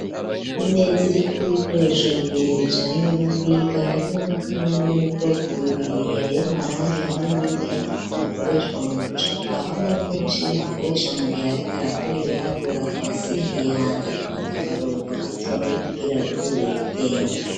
Imeza iri kw'ibikoresho bibiri bijanye no kwiga harimwo amakaramu y'ubwoko bubiri yay'amarangi hamwe n'imwe y'igiti bikoreshwa mu gucapa hamwe n'imashini akoresha mu gihe ariko arakora ibiharuro akabasimbiye hanze gufata akaruhuko gatoyi kugira aruhurir'ubwenge.